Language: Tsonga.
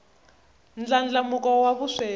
ndlandlamuko wa vusweti